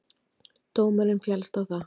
Dómurinn féllst ekki á það.